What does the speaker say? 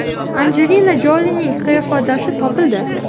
Anjelina Jolining qiyofadoshi topildi .